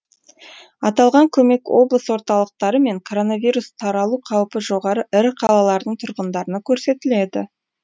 аталған көмек облыс орталықтары мен коронавирус таралу қаупі жоғары ірі қалалардың тұрғындарына көрсетіледі